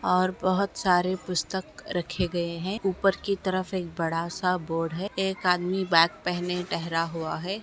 और बहुत सारे पुस्तक रखे गए है ऊपर की तरफ एक बड़ा सा बोर्ड है एक आदमी बैग पहने ठहरा हुआ है